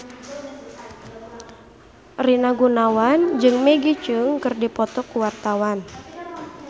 Rina Gunawan jeung Maggie Cheung keur dipoto ku wartawan